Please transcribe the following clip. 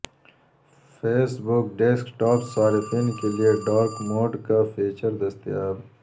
face بک desktop صارفین کے لیے ڈارک موڈ کا فیچر دستیاب